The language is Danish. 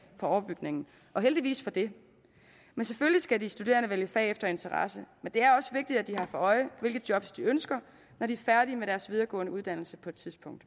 på overbygningen og heldigvis for det selvfølgelig skal de studerende vælge fag efter interesser men det er også vigtigt at de har for øje hvilke job de ønsker når de er færdige med deres videregående uddannelse på et tidspunkt